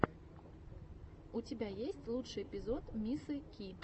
у тебя есть лучший эпизод мисы ки